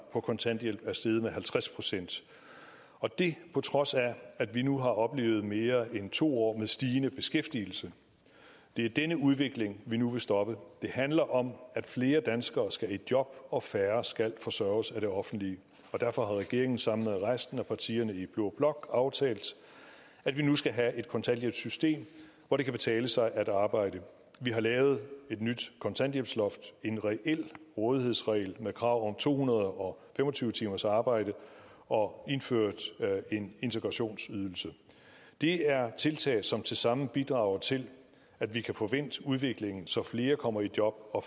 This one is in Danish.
på kontanthjælp er steget med halvtreds procent og det på trods af at vi nu har oplevet mere end to år med stigende beskæftigelse det er denne udvikling vi nu vil stoppe det handler om at flere danskere skal i job og færre skal forsørges af det offentlige derfor har regeringen sammen med resten af partierne i blå blok aftalt at vi nu skal have et kontanthjælpssystem hvor det kan betale sig at arbejde vi har lavet et nyt kontanthjælpsloft en reel rådighedsregel med krav om to hundrede og fem og tyve timers arbejde og indført en integrationsydelse det er tiltag som tilsammen bidrager til at vi kan få vendt udviklingen så flere kommer i job og